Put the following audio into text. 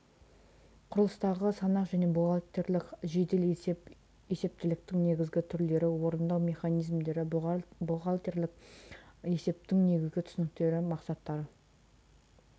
құрылыстағы санақ және бухгалтерлік жедел есеп есептіліктің негізгі түрлері орындау мерзімдері бухгалтерлік есептің негізгі түсініктері мақсаттары